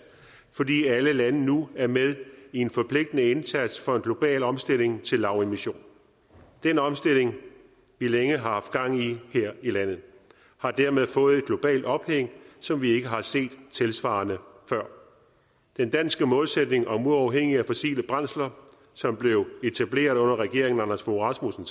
fordi alle lande nu er med i en forpligtende indsats for en global omstilling til lavemission og den omstilling vi længe har haft gang i her i landet har dermed fået et globalt ophæng som vi ikke har set tilsvarende før den danske målsætning om uafhængighed af fossile brændsler blev etableret under regeringen anders fogh rasmussen